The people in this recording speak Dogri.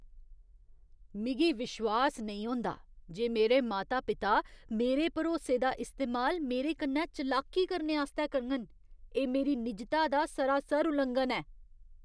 मिगी विश्वास नेईं होंदा जे मेरे माता पिता मेरे भरोसे दा इस्तेमाल मेरे कन्नै चलाकी करने आस्तै करङन। एह् मेरी निजता दा सरासर उल्लंघन ऐ।